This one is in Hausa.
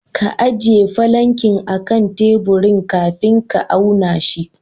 Ka ajiye falankin akan teburin kafin ka auna shi.